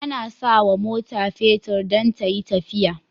Ana sawa mota fetir dan tayi tafiya